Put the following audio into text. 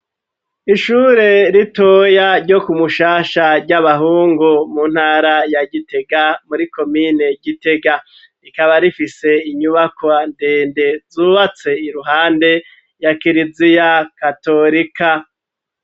Ishure ritoya ryo ku Mushasha ry'abahungu mu ntara ya Gitega muri komine Gitega rikaba rifise inyubako ndende zubatse iruhande ya kiriziya katorika.